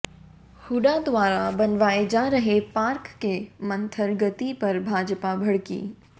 हूडा द्वारा बनवाये जा रहे पार्क की मंथर गति पर भाजपा भड़की